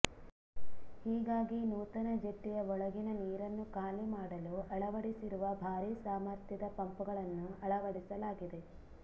ಹೀಗಾಗಿ ನೂತನ ಜೆಟ್ಟಿಯ ಒಳಗಿನ ನೀರನ್ನು ಖಾಲಿಮಾಡಲು ಅಳವಡಿಸಿರುವ ಭಾರೀ ಸಾಮರ್ಥ್ಯದ ಪಂಪ್ಗಳನ್ನು ಅಳವಡಿಸಲಾಗಿದೆ